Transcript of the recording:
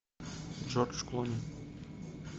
джордж клуни